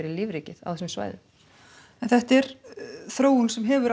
lífríkið á þessum svæðum en þetta er þróun sem hefur